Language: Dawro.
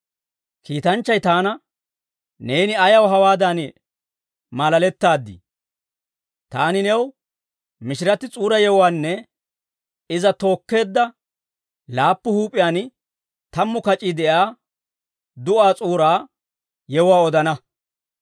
Kiitanchchay taana, «Neeni ayaw hawaadan maalalettaaddii? Taani new mishiratti S'uura yewuwaanne iza tookkeedda laappu huup'iyaan tammu kac'ii de'iyaa du'aa S'uura yewuwaa odana.